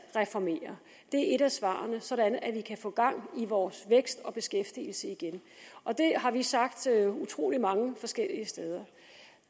reformerer det er et af svarene sådan at vi kan få gang i vores vækst og beskæftigelse igen det har vi sagt utrolig mange forskellige steder